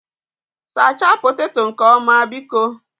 Sachaa poteto nke ọma, biko